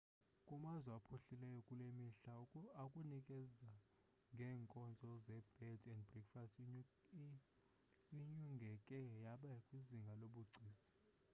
kumazwe aphuhlileyo kulemihla ukunikeza ngenkozo ze bed and breakfast inyungeke yaba kwizinga lobugcisa